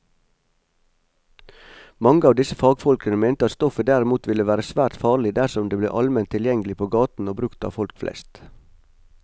Mange av disse fagfolkene mente at stoffet derimot ville være svært farlig dersom det ble allment tilgjengelig på gaten og brukt av folk flest.